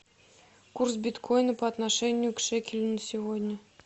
курс биткоина по отношению к шекелю на сегодня